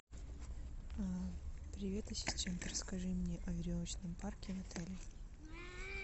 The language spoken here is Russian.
привет ассистент расскажи мне о веревочном парке в отеле